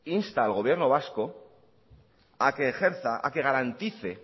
insta al gobierno vasco a que ejerza a que garantice